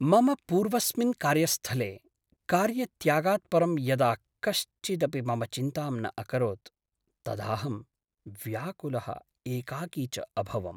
मम पूर्वस्मिन् कार्यस्थले कार्यत्यागात् परं यदा कश्चिदपि मम चिन्तां न अकरोत् तदाहं व्याकुलः एकाकी च अभवम्।